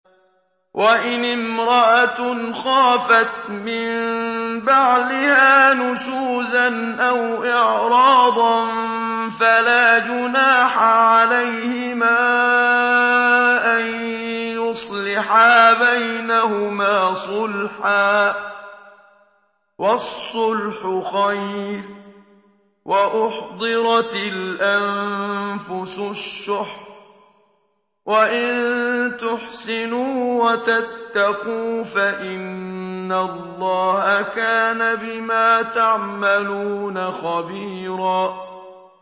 وَإِنِ امْرَأَةٌ خَافَتْ مِن بَعْلِهَا نُشُوزًا أَوْ إِعْرَاضًا فَلَا جُنَاحَ عَلَيْهِمَا أَن يُصْلِحَا بَيْنَهُمَا صُلْحًا ۚ وَالصُّلْحُ خَيْرٌ ۗ وَأُحْضِرَتِ الْأَنفُسُ الشُّحَّ ۚ وَإِن تُحْسِنُوا وَتَتَّقُوا فَإِنَّ اللَّهَ كَانَ بِمَا تَعْمَلُونَ خَبِيرًا